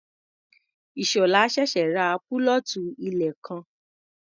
Ìṣọ̀lá ṣẹ̀ṣẹ̀ ra púlọ̀tù ilẹ̀ kan.